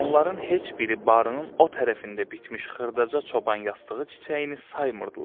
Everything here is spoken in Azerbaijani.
Onların heç biri barının o tərəfində bitmiş xırdaca çoban yastığı çiçəyini saymırdılar.